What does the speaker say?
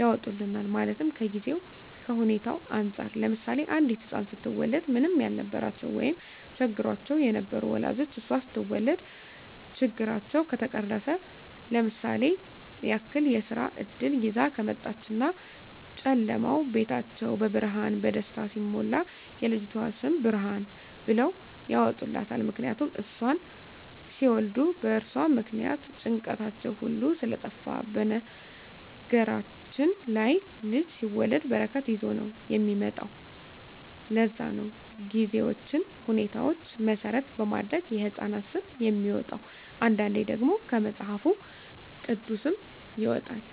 ያወጡልናል ማለትም ከጊዜዉ ከሁኔታዉ እንፃር ለምሳሌ አንዲት ህፃን ስትወለድ ምንም ያልነበራቸዉ ወይም ቸግሯቸዉ የነበሩ ወላጆቿ እሷ ስትወለድ ችግራቸዉ ከተፈቀረፈ ለምሳሌ ያክል የስራ እድል ይዛ ከመጣች እና ጨለማዉ ቤታቸዉ በብርሃን በደስታ ሲሞላ የልጅቱ ስም ብርሃን ብለዉ ያወጡላታል ምክንያቱም እሷን ሲወልዱ በእርሷ ምክንያት ጭንቀታቸዉ ሁሉ ስለጠፍ በነገራችን ላይ ልጅ ሲወለድ በረከት ይዞ ነዉ የሚመጣዉ ለዛ ነዉ ጊዜዎችን ሁኔታዎች መሰረት በማድረግ የህፃናት ስም የሚወጣዉ አንዳንዴ ደግሞ ከመፅሀፍ ቅዱስም ይወጣል